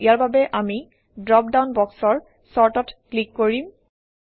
ইয়াৰ বাবে আমি ড্ৰপডাউন বক্সৰ Sort অত ক্লিক কৰিম